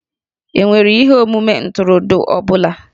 E nwere ihe omume ntụrụndụ ọ bụla?